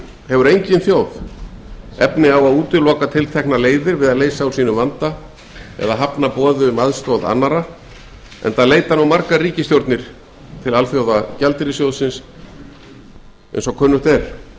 hefur engin þjóð efni á að útiloka tilteknar leiðir við að leysa úr sínum vanda eða hafna boði um aðstoð enda leita nú margar ríkisstjórnir til sjóðsins